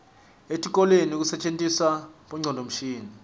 etikolweni kusetjentiswa bongcondvomshini